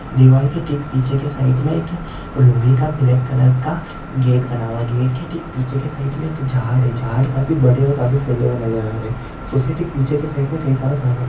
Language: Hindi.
दीवार के ठीक पिच्छे के साईड मे एक लोहेका ब्लॅक कलर का गेट बना हुआ है। गेट के ठीक पिच्छे के साईड मे एक झाहाड है। झाड काफी बड़े और काफी फैले हुए नज़र आ रहे उसके ठीक पिच्छे के साईड मे कही सारा सामान--